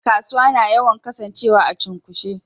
Kasuwa na yawan Kasan cewa a cunkoshe.